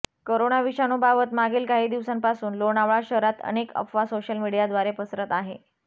corona विषाणूबाबत मागील काही दिवसांपासून लोणावळा शहरात अनेक अफवा सोशल मीडियाद्वारे पसरत आहे